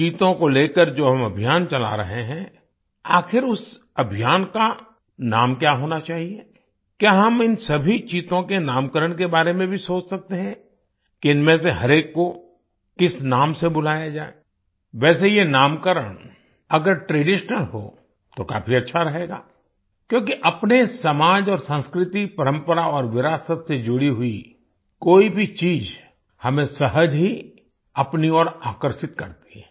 चीतों को लेकर जो हम अभियान चला रहे हैं आखिर उस अभियान का नाम क्या होना चाहिए क्या हम इन सभी चीतों के नामकरण के बारे में भी सोच सकते हैं कि इनमें से हर एक को किस नाम से बुलाया जाए वैसे ये नामकरण अगर ट्रेडिशनल हो तो काफी अच्छा रहेगा क्योंकि अपने समाज और संस्कृति परंपरा और विरासत से जुड़ी हुई कोई भी चीज हमें सहज ही अपनी ओर आकर्षित करती है